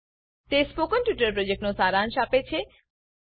તે spoken tutorial પ્રોજેક્ટનો સારાંશ આપે છે